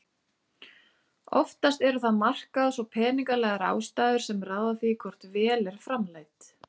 Húsleitin var framkvæmd að undangengnum dómsúrskurði